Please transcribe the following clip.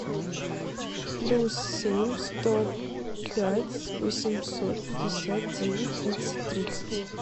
плюс семь сто пять восемьсот пятьдесят девять тридцать тридцать